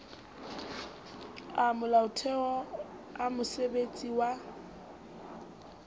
a molaotheo a mosebesetsi wa